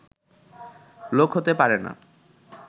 লোক হতে পারে না